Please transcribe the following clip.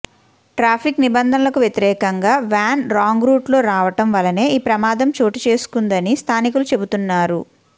traffic నిబంధనలకు వ్యతిరేకంగా van wrong route లో రావడం వలనే ఈ ప్రమాదం చోటు చేసుకుందని స్థానికులు చెబుతున్నారు